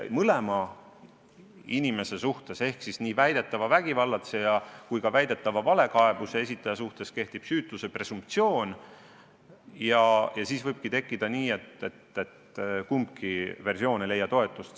Mõlema inimese suhtes ehk siis nii väidetava vägivallatseja kui ka väidetava valekaebuse esitaja suhtes kehtib süütuse presumptsioon ja siis võibki minna nii, et kumbki versioon ei leia toetust.